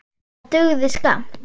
Það dugði skammt.